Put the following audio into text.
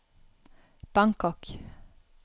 Bangkok